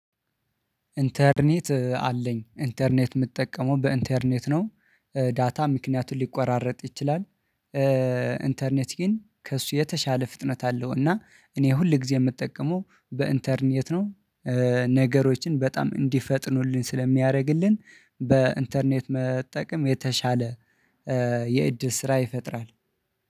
ኢንተርኔት አለኝ ኢንተርኔት የምጠቀመው በኢንተርኔት ነው ዳታ ምክንያቱን ሊቆራረጥ ይችላል። ኢንተርኔት ግን ከእሱ የተሻለ ፍጥነት አለው እና እኔ ሁል ጊዜ የምጠቀመው በኢንተርኔት ነው። ነገሮችን በጣም እንዲፈጥኑልኝ ስለሚያደርግልን በኢንተርኔት መጠቀም የተሻለ የእድል ስራ ይፈጥራል